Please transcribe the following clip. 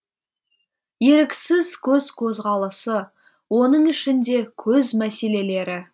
еріксіз көз қозғалысы оның ішінде көз мәселелері